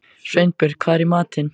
Sveinbjörg, hvað er í matinn?